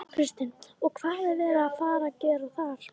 Kristín: Og hvað er verið að fara að gera þar?